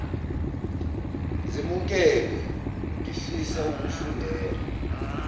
zemukelwe ngifisa ukufundela